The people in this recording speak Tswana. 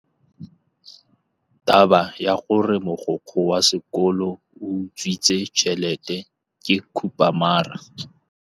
Taba ya gore mogokgo wa sekolo o utswitse tšhelete ke khupamarama.